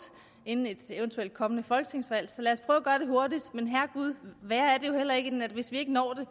inden et eventuelt kommende folketingsvalg så lad os prøve at gøre det hurtigt men herregud det er jo heller ikke værre end at hvis vi ikke når det